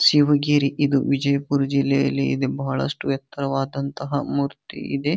ಶಿವಗಿರಿ ಇದು ವಿಜಯ್ಪುರ ಜಿಲ್ಲೆಯಲ್ಲಿ ಇದೆ ಬಹಳಷ್ಟು ಎತ್ತರವಾದಂಥ ಮೂರ್ತಿ ಇದೆ.